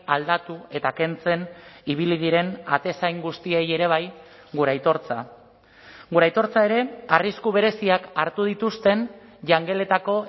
aldatu eta kentzen ibili diren atezain guztiei ere bai gure aitortza gure aitortza ere arrisku bereziak hartu dituzten jangeletako